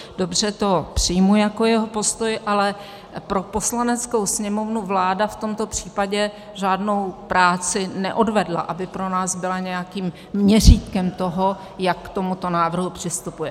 Dobře, to přijmu jako jeho postoj, ale pro Poslaneckou sněmovnu vláda v tomto případě žádnou práci neodvedla, aby pro nás byla nějakým měřítkem toho, jak k tomuto návrhu přistupuje.